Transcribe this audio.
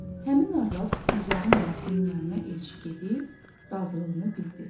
Həmin arvad Gülzarın anasının yanına elçi gedib, razılığını bildi.